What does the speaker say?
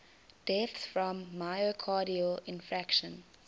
deaths from myocardial infarction